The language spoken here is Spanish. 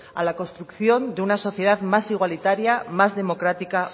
a la construcción de una sociedad más igualitaria más democrática